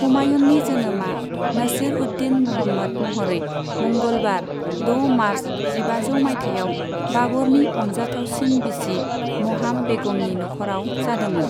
हुमायूननि जोनोमा नसीर उद दीन मुहम्मद महरै मंगलबार, द' मार्च जिबाजौ माइथायाव बाबरनि अनजाथावसिन बिसि महाम बेगमनि नखराव जादोंमोन।